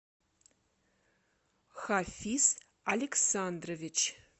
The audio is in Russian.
хафис александрович